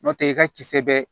N'o tɛ i ka kisɛ bɛ